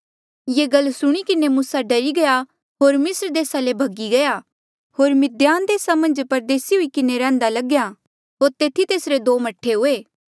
ये गल सुणी किन्हें मूसा डरी गया होर मिस्र देसा ले भगी गया होर मिद्धान देसा मन्झ परदेसी हुई किन्हें रैहन्दा लग्या होर तेथी तेसरे दो मह्ठे हुए